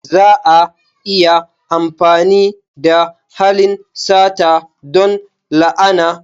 Za a iya amfani da halin sata don la'ana.